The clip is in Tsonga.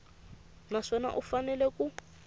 na swona u fanele ku